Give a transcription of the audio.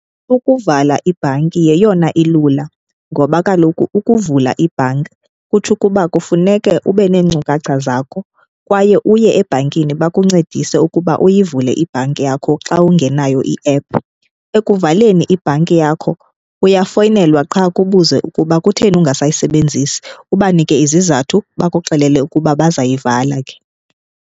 Ukuvala ibhanki yeyona ilula ngoba kaloku ukuvula ibhanki kutsho ukuba kufuneke ube neenkcukacha zakho kwaye uye ebhankini bakuncedise ukuba uyivule ibhanki yakho xa ungenayo iephu. Ekuvaleni ibhanki yakho uyafowunelwa qha kubuzwe ukuba kutheni ungasayisebenzisi ubanike izizathu, bakuxelele ukuba bazayivala ke.